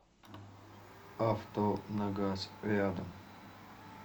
авто на газ рядом